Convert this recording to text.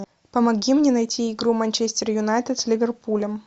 помоги мне найти игру манчестер юнайтед с ливерпулем